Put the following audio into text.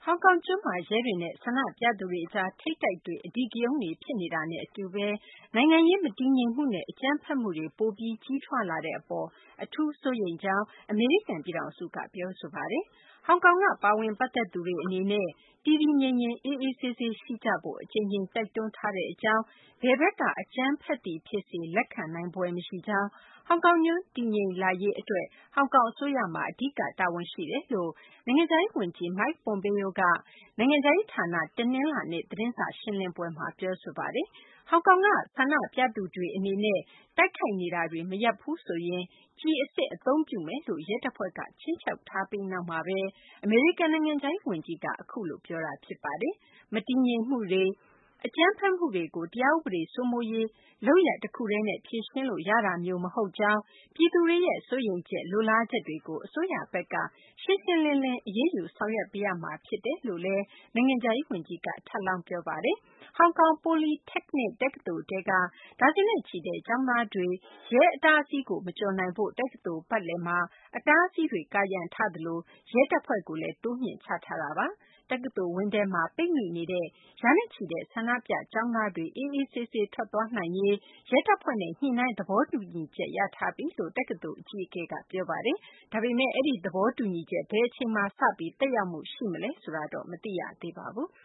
ောင်ကောင်ကျွန်းမှာ ရဲတွေနဲ့ ဆန္ဒပြသူတွေကြား ထိပ်တိုက်တွေ့ အဓိကရုန်းတွေ ဖြစ်နေတာနဲ့ အတူဘဲ နိုင်ငံရေး မတည်ငြိမ်မှုနဲ့ အကြမ်းဖက်မှုတွေ ပိုပြီး ကြီးထွားလာနေတဲ့ အပေါ် အထူးဘဲ စိုးရိမ်ကြောင်း အမေရိကန် ပြည်ထောင်စုက ပြောဆိုပါတယ်။ ဟောင်ကောင်က ပါဝင် ပတ်သက်သူ အသီးသီး အနေနဲ့ တည်တည်ငြိမ်ငြိမ် အေးအေးဆေးဆေး ရှိကြဖို့ အကြိမ်ကြိမ် တိုက်တွန်းထားပါကြောင်း၊ ဘယ်ဘက်က အကြမ်းဖက်သည် ဖြစ်စေ လက်ခံနိုင်ဖွယ် မရှိကြောင်း၊ ဟောင်ကောင်ကျွန်း တည်ငြိမ်လာရေး အတွက် ဟောင်ကောင် အစိုးရမှာ အဓိက တာဝန်ရှိပါတယ်လို့ နိုင်ငံခြားရေး ဝန်ကြီး Mike Pompeo က နိုင်ငံခြားရေး ဌာန တနလာၤနေ့ သတင်းစာ ရှင်းလင်းပွဲမှာ ပြောဆိုပါတယ်။ ဟောင်ကောင်က ဆန္ဒပြသူတွေ အနေနဲ့ တိုက်ခိုက်နေတာတွေ မရပ်ဘူးဆိုရင် ကျည်အစစ် အသုံးပြုမယ်လို့ ရဲတပ်ဖွဲ့က ခြိမ်းခြောက်ထားပြီး နောက်မှာဘဲ အမေရိကန် နိုင်ငံခြားရေး ဝန်ကြီးက အခုလို ပြောဆိုတာ ဖြစ်ပါတယ်။ မတည်ငြိမ်မှုတွေ အကြမ်းဖက်မှုတွေကို တရားဥပဒေ စိုးမိုးရေး လုပ်ရပ် တခုတည်းနဲ့ ဖြေရှင်းလို့ ရတာမျိုး မဟုတ်ကြောင်း၊ ပြည်သူတွေရဲ့ စိုးရိမ်ချက် လိုလားချက်တွေကို အစိုးရဘက်က ရှင်းရှင်းလင်းလင်း အရေးယူ ဆောင်ရွက်ပေးရမှာ ဖြစ်တယ်လို့လည်း အမေရိကန် နိုင်ငံခြားရေး ဝန်ကြီးက ထပ်လောင်း ပြောပါတယ်။ ဟောင်ကောင် Polytechnic တက္ကသိုလ် ထဲက ဒါဇင်နဲ့ချီတဲ့ ကျောင်းသားတွေ ရဲ အတားအဆီးကို မကျော်နိုင်ဖို့ တက္ကသိုလ် ပတ်လည်မှာ အတားအဆီးတွေ ကာရံထားသလို ရဲတပ်ဖွဲ့ကိုလည်း တိုးမြှင့်ချထားပါတယ်။ တက္ကသိုလ်ဝင်းထဲမှာ ပိတ်မိနေတဲ့ ရာနဲ့ချီတဲ့ ဆန္ဒပြ ကျောင်းသားတွေ အေးအေးဆေးဆေး ထွက်ခွာသွားနိုင်ရေး အတွက် ရဲတပ်ဖွဲ့နဲ့ ညှိနှိုင်းသဘောတူချက် ရထားပြီလို့ တက္ကသိုလ် အကြီးအကဲက ပြောဆိုထားပါတယ်။ အဲဒီ သဘောတူညီချက် ဘယ်အချိန်မှာ စပြီး သက်ရောက်မှု ရှိမလဲတော့ မသိရသေးပါဘူး။